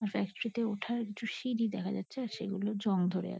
আর factory -তে ওঠার একটা সিঁড়ি দেখা যাচ্ছে। আর সেগুলো জং ধরে আ--